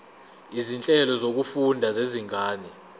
izinhlelo zokufunda zezinga